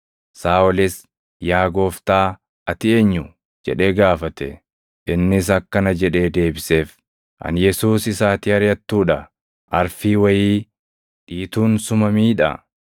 Saaʼolis, “Yaa Gooftaa, ati eenyu?” jedhee gaafate. Innis akkana jedhee deebiseef; “Ani Yesuus isa ati ariʼattuu dha. Arfii wayii dhiituun suma miidha.